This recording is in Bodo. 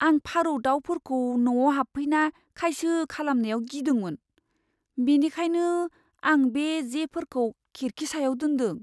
आं फारौ दाउफोरखौ न'आव हाबफैना खायसो खालामनायाव गिदोंमोन, बेनिखायनो आं बे जेफोरखौ खिरखि सायाव दोनदों।